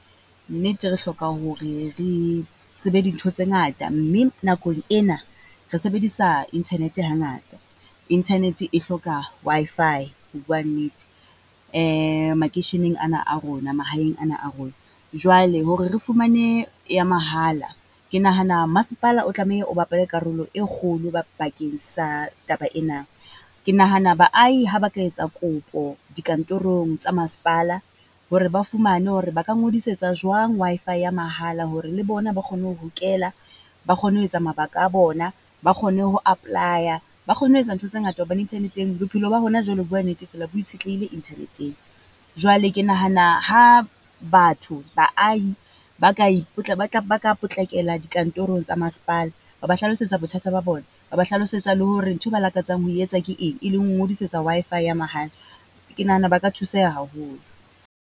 Nnete re hloka hore re tsebe dintho tse ngata, mme nakong ena re sebedisa internet hangata. Internet e hloka Wi-Fi ho bua nnete, makeisheneng ana a rona, mahaeng ana a rona. Jwale hore re fumane ya mahala, ke nahana masepala o tlameha o bapale karolo e kgolo ba, bakeng sa taba ena. Ke nahana baahi ha ba ka etsa kopo dikantorong tsa masepala hore ba fumane hore ba ka ngodisetsa jwang Wi-Fi ya mahala hore le bona ba kgone ho hokela. Ba kgone ho etsa mabaka a bona, ba kgone ho apply-a, ba kgone ho etsa ntho tse ngata hobane internet-eng bophelo ba hona jwale ho bua nnete fela bo itshetlehile internet-ng. Jwale ke nahana ha batho, baahi ba ka e ba tla ba ka potlakela di kantorong tsa masepala, ba ba hlalosetsa bothata ba bona, ba ba hlalosetsa le hore nthwe ba lakatsang ho etsa ke eng? E leng ho ngodisetsa Wi-Fi ya mahala, ke nahana ba ka thuseha haholo.